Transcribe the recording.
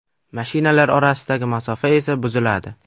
Mashinalar orasidagi masofa esa buziladi.